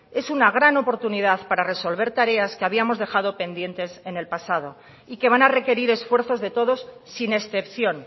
es una gran oportunidad para resolver tareas que habíamos dejado pendientes en el pasado y que van a requerir esfuerzos de todos sin excepción